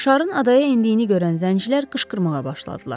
Şarın adaya endiyini görən zəncilər qışqırmağa başladılar.